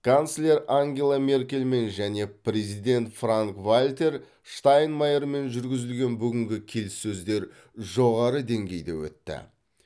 канцлер ангела меркельмен және президент франк вальтер штайнмайермен жүргізілген бүгінгі келіссөздер жоғары деңгейде өтті